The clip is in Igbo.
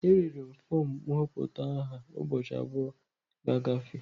E rere fọm nhọpụta aha ụbọchị abụọ ga-agafe.